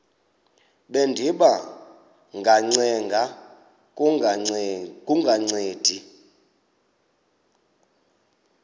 bendiba ngacenga kungancedi